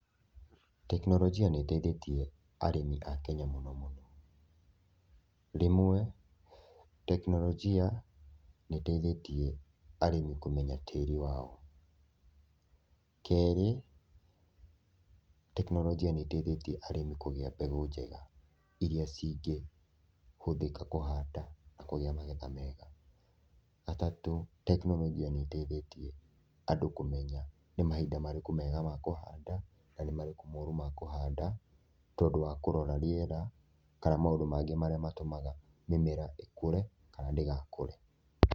Tekinoronjia nĩ ĩteithĩtie arĩmi a Kenya mũno mũno, rĩmwe tekinoronjia nĩ ĩteithĩtie arĩmi kũmenya tĩri wao, kerĩ tekinoronjia nĩ ĩteithĩtie arĩmi kũgĩa mbegũ njega, iria cingĩhũthĩka kũhanda na kũgĩa magetha mega, gatatũ tekinoronjia nĩ ĩteithĩtie andũ kũmenya nĩ mahinda marĩkũ mega ma kũhanda na nĩ marĩkũ moru ma kũhanda, tondũ wa kũrora rĩera kana maũndũ mangĩ marĩa matũmaga mĩmera ĩkũre kana ndĩgakũre.